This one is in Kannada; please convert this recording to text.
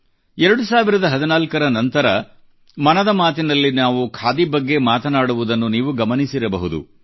2014 ರ ನಂತರ ಮನದ ಮಾತಿನಲ್ಲಿ ನಾವು ಖಾದಿ ಬಗ್ಗೆ ಮಾತನಾಡುವುದನ್ನು ನೀವು ಗಮನಿಸಿರಬಹುದು